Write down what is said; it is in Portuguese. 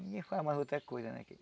Ninguém faz mais outra coisa né